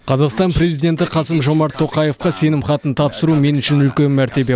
қазақстан президенті қасым жомарт тоқаевқа сенім хатын тапсыру мен үшін үлкен мәртебе